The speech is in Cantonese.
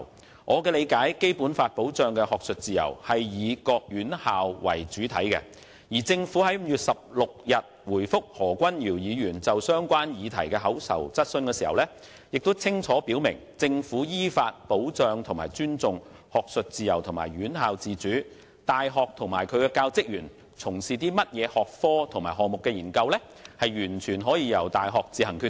根據我的理解，《基本法》保障的學術自由以各院校為主體，而政府在5月16日回覆何君堯議員就相關議題提出的口頭質詢中清楚表明，"政府依法保障和尊重學術自由和院校自主，大學及其教職員從事甚麼學科及項目的研究，完全由大學自行決定"。